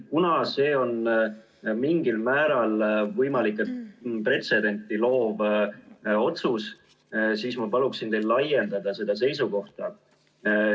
Kuna see on mingil määral pretsedenti loov otsus, siis ma palun teil laiendada seda seisukohta.